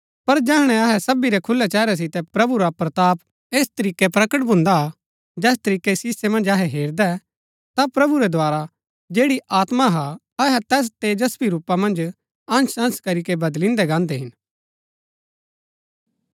पर जैहणै अहै सबी रै खुलै चेहरै सितै प्रभु रा प्रताप ऐस तरीकै प्रगट भून्दा हा जैस तरीकै शीसै मन्ज अहै हेरदै ता प्रभु रै द्धारा जैड़ी आत्मा हा अहै तैस तेजस्वी रूपा मन्ज अंश अंश करीके बदलिन्दै गान्दै हिन